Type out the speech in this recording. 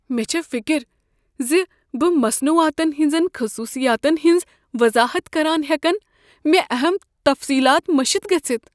مےٚ چھ فکر ز بہٕ مصنوعاتن ہٕنٛزن خصوصیاتن ہنٛز وضاحت کران ہٮ۪کن مےٚ اہم تفصیلات مٔشِتھ گٔژھِتھ۔